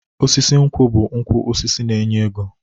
Osisi nkwụ bụ ukwu osisi na-enye ego.